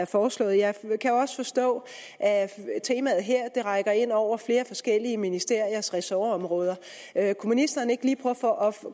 foreslået jeg kan også forstå at temaet her rækker ind over flere forskellige ministeriers ressortområder kunne ministeren ikke